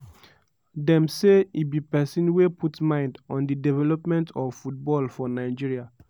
dem say e be pesin wey put mind on di development of football for nigeria.